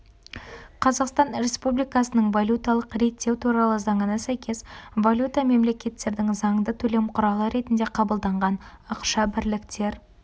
қазақстан республикасының валюталық реттеу туралы заңына сәйкес валюта мемлекеттердің заңды төлем құралы ретінде қабылданған ақша бірілктер